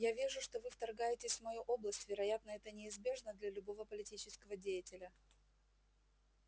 я вижу что вы вторгаетесь в мою область вероятно это неизбежно для любого политического деятеля